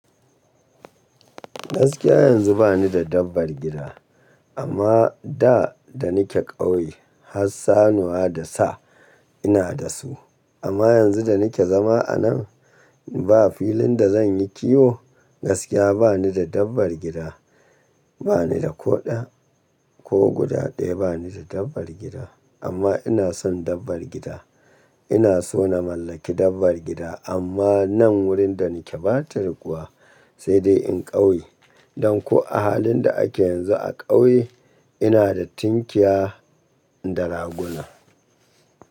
Gaskiya yanzu ba ni da dabbar gida, amma da da nake ƙauye har sannuwa da sa ina da su. Amma yanzu da nake zama anan ba filin da zan yi kiwo gaskiya ba ni da dabbar gida. Ba ni da ko ɗaya ko guda ɗaya ba ni da dabbar gida. Amma ina son dabbar gida. Ina so na mallaki dabbar gida amma nan wurin da nake ɓata yiwuwa sai dai in ƙauye. Don ko a halin da ake yanzu a ƙauye ina da tunkiya da raguna.